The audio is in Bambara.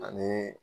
Ani